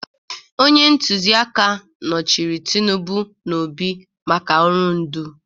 Onye ntụziaka nọchiri Tinubu na Obi maka ọrụ ndu